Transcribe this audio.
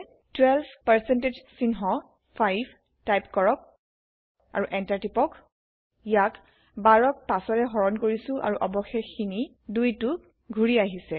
12 percentage চিহ্ন 5 type কৰক আৰু Enter টিপক ইয়াত ১২ক ৫ৰে হৰন কৰিছে আৰু অবশেষ160খিনি 160২টো ঘুৰি আহিছে